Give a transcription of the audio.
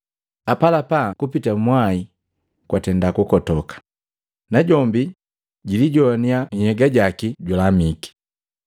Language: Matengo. Apalapa kupita mwai we kwatenda kukotoka, najombi jilijoannya nhyega jaki julamike.